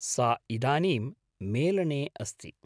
सा इदानीं मेलने अस्ति।